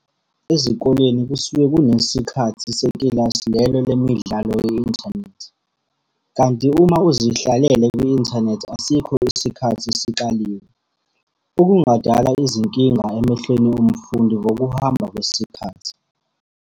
Ezikoleni kusuke kunesikhathi sekilasi lelo lemidlalo ye-inthanethi. Kanti uma uzihlalele kwi-inthanethi asikho isikhathi esikaliwe, okungadala izinkinga emehlweni womfundi ngokuhamba kwesikhathi.